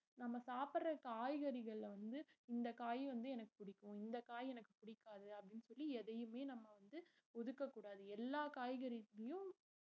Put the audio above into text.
நம்ம சாப்பட்ற காய்கறிகள்ல வந்து இந்த காய் வந்து எனக்கு புடிக்கும் இந்த காய் எனக்கு புடிக்காது அப்படினு சொல்லி எதையுமே நம்ம வந்து ஒதுக்க கூடாது எல்லா காய்கறிளையும்